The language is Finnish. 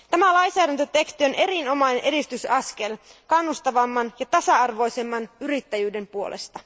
Tämä lainsäädäntöteksti on erinomainen edistysaskel kannustavamman ja tasa arvoisemman yrittäjyyden puolesta.